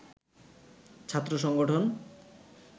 ছাত্র সংগঠন